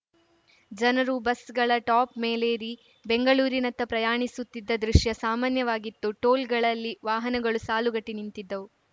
ಜನರು ಬಸ್‌ಗಳ ಟಾಪ್‌ ಮೇಲೇರಿ ಬೆಂಗಳೂರಿನತ್ತ ಪ್ರಯಾಣಿಸುತ್ತಿದ್ದ ದೃಶ್ಯ ಸಾಮಾನ್ಯವಾಗಿತ್ತು ಟೋಲ್‌ಗಳಲ್ಲಿ ವಾಹನಗಳು ಸಾಲುಗಟ್ಟಿನಿಂತಿದ್ದವು